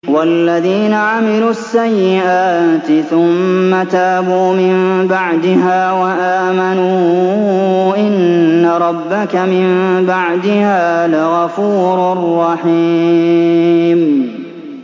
وَالَّذِينَ عَمِلُوا السَّيِّئَاتِ ثُمَّ تَابُوا مِن بَعْدِهَا وَآمَنُوا إِنَّ رَبَّكَ مِن بَعْدِهَا لَغَفُورٌ رَّحِيمٌ